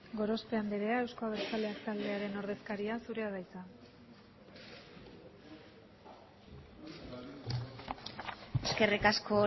gorospe andrea euzko abertzaleak taldearen ordezkaria zurea da hitza eskerrik asko